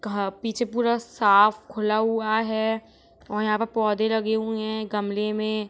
घा पीछे पूरा साफ खुला हुआ है और यहाँ पर पौधे लगे हुए हैं गमले में।